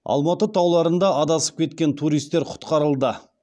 алматы тауларында адасып кеткен туристер құтқарылды